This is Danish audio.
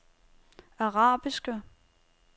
arabiske